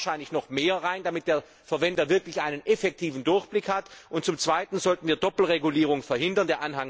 Da muss wahrscheinlich noch mehr rein, damit der Verwender wirklich einen effektiven Durchblick hat, und zum zweiten sollten wir Doppelregulierung verhindern.